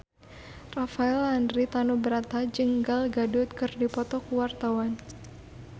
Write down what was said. Rafael Landry Tanubrata jeung Gal Gadot keur dipoto ku wartawan